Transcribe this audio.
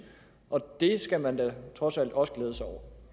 det skal man da trods alt også glæde sig over